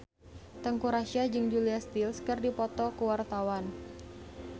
Teuku Rassya jeung Julia Stiles keur dipoto ku wartawan